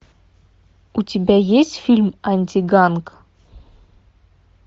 у тебя есть фильм антиганг